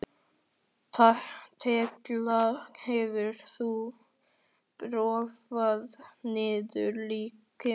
Tekla, hefur þú prófað nýja leikinn?